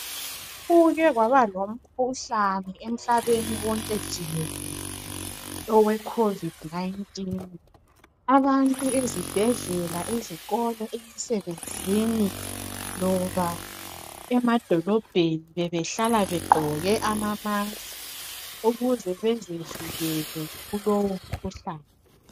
Like kwaba lomkhuhlane emhlabeni wonke jikelele owe COVID 19 abantu ezibhendlela, ezikolo, emsebenzini loba emadolobheni bebehlala begqoke ama mask ukuze bezivikele kulowu mkhuhlane.